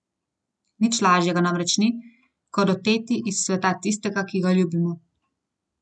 Nič lažjega namreč ni, kot oteti iz sveta tistega, ki ga ljubimo.